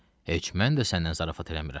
Heç mən də səndən zarafat eləmirəm.